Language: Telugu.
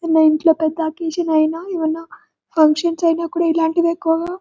మా ఇంట్లో పెద్ద అకేషన్ అయినా ఏవన్నా ఫంక్షన్స్ అయినా కూడా ఇలాంటివి ఎక్కువగా--